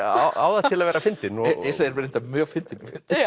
á það til að vera fyndin Yrsa er reyndar mjög fyndin